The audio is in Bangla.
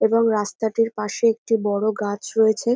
এবং রাস্তাটির পাশে একটি বড় গাছ রয়েছে।